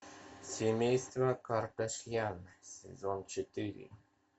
семейство кардашьян сезон четыре